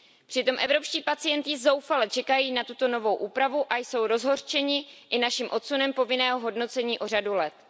Přitom evropští pacienti zoufale čekají na tuto novou úpravu a jsou rozhořčeni i naším odsunem povinného hodnocení o řadu let.